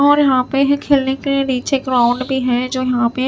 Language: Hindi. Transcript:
और यहां पे है खेलने के लिए नीचे ग्राउंड भी है जो यहां पे--